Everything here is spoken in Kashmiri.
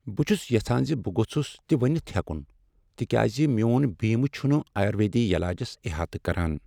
بہٕ چُھس یژھان زِ بہٕ گوٚژھُس تہِ ؤنِتھ ہیکُن تكیازِ میون بیمہٕ چُھنہٕ آیورویدی یلاجس احاطہٕ كران ۔